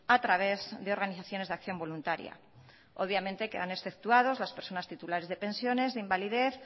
a través de organizaciones de acción voluntaria obviamente quedan exceptuados las personas titulares de pensiones de invalidez